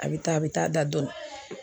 A bɛ taa, a bɛ taa da dɔɔnin.